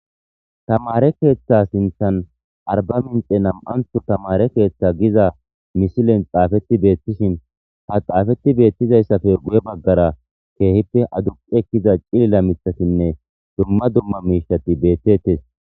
Tamare keeththa sinthan arba minxe nam'anthu tamare keeththa giza mishilen xaafetti beettishin ha xaafetti beettizayssafe guye baggara keehippe aduqeekiza cilila mithasinne dumma dumma miishati beettettes.